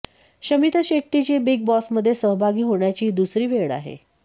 शमिता शेट्टीची बिग बॉसमध्ये सहभागी होण्याची ही दुसरी वेळ आहे